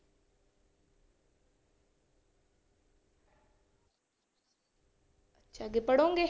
ਅੱਗੇ ਪੜ੍ਹੋਂਗੇ?